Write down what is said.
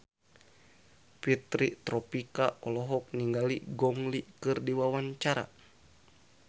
Fitri Tropika olohok ningali Gong Li keur diwawancara